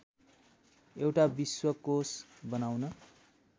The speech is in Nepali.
एउटा विश्वकोष बनाउन